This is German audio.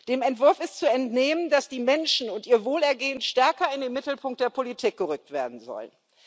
Dem Entwurf ist zu entnehmen, dass die Menschen und ihr Wohlergehen stärker in den Mittelpunkt der Politik gerückt werden sollen.